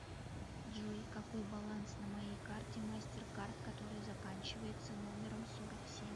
джой какой баланс на моей карте мастер кард которая заканчивается номером сорок семь